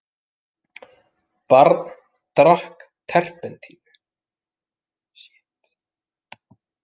Barn drakk terpentínu